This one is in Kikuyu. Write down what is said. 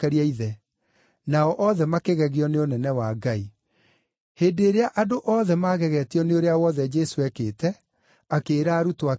Nao othe makĩgegio nĩ ũnene wa Ngai. Hĩndĩ ĩrĩa andũ othe maagegetio nĩ ũrĩa wothe Jesũ eekĩte, akĩĩra arutwo ake atĩrĩ,